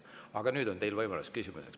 Aga nüüd on teil võimalus küsida.